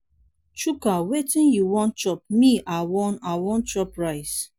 chuka wetin you wan chop me i wan i wan chop rice.